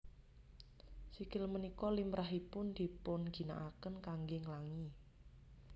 Sikil punika limrahipun dipunginakaken kanggé nglangi